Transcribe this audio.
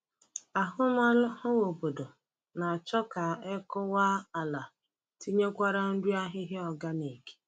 Ahụmahụ obodo na-achọ ka e kụwa ala tinyekwara nri ahịhịa organic.